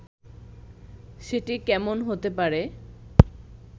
সেটি কেমন হতে পারে